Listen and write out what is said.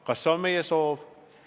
Kas see on meie soov?